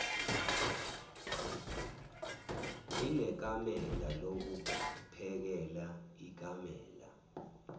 inekamela lokuphekela ikamela